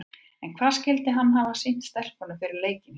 En hvað skyldi hann hafa sýnt stelpunum fyrir leikinn í kvöld?